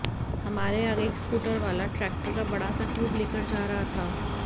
हमारे आगे एक स्कूटर वाला ट्रैक्टर का बड़ा सा ट्यूब लेकर जा रहा था